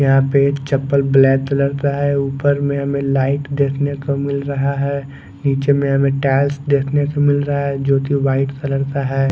यहा पे एक चप्पल ब्लैक कलर का है उपर में हमे लाइट देखने को मिल रहा है निचे में हमे टाइल्स देखने के मिल रहा है जो की वाइट कलर का है।